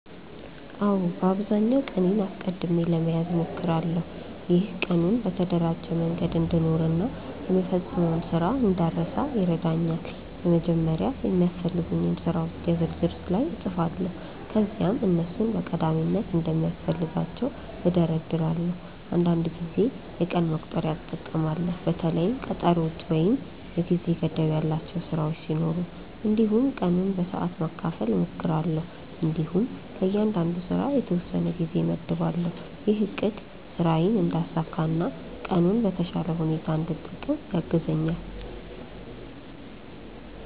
አዎ፣ በአብዛኛው ቀኔን አስቀድሜ ለመያዝ እሞክራለሁ። ይህ ቀኑን በተደራጀ መንገድ እንድኖር እና የምፈጽመውን ስራ እንዳልረሳ ይረዳኛል። በመጀመሪያ የሚያስፈልጉኝን ስራዎች የ ዝርዝር ላይ እጻፋለሁ ከዚያም እነሱን በቀዳሚነት እንደሚያስፈልጋቸው እደርዳለሁ። አንዳንድ ጊዜ የቀን መቁጠሪያ እጠቀማለሁ በተለይም ቀጠሮዎች ወይም የጊዜ ገደብ ያላቸው ስራዎች ሲኖሩ። እንዲሁም ቀኑን በሰዓት ማካፈል እሞክራለሁ እንዲሁም ለእያንዳንዱ ስራ የተወሰነ ጊዜ እመድባለሁ። ይህ አቅድ ስራዬን እንዳሳካ እና ቀኑን በተሻለ ሁኔታ እንድጠቀም ያግዛኛል።